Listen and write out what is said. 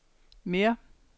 mere